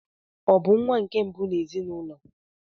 Ọ bụ nwa nke mbụ n'ezinụlọ?